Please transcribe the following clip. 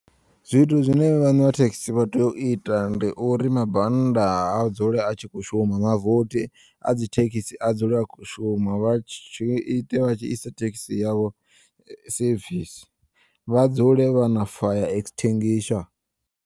Zwithu zwine vhane vha thekisi vhatea u ita ndi uri mabannda a dzule a tshi kho u shuma mavothi a dzithekisi a dzule a kho u shuma vha tshi ite vha tshi ise thekisi yavho sevisi vha dzule vhana fire extinguisher.